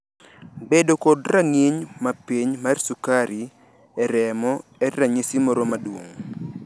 Bedo kod rang`iny mapiny mar sukari e remo en ranyisi moro maduong`.